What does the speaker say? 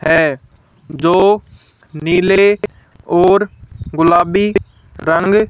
है जो नीले और गुलाबी रंग--